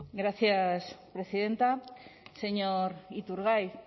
gracias presidenta señor iturgaiz